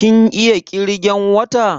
Kin iya ƙirgan wata?